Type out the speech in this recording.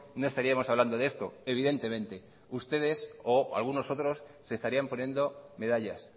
no estaríamos hablando de esto evidentemente ustedes o algunos otros se estarían poniendo medallas